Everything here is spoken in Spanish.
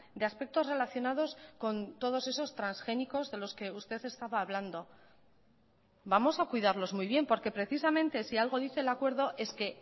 de aspectos relacionados con todos esos transgénicos de los que usted estaba hablando vamos a cuidarlos muy bien porque precisamente si algo dice el acuerdo es que